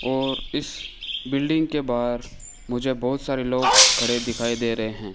और इस बिल्डिंग के बाहर मुझे बोहोत सारे लोग खड़े दिखाई दे रहे हैं।